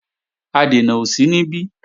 Adènà ò sí níbí